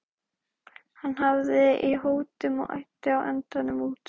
Hann hafði í hótunum og æddi á endanum út.